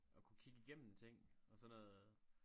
Og kunne kigge igennem ting og sådan noget